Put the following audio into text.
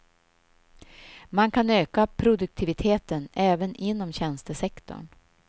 Man kan öka produktiviteten även inom tjänstesektorn.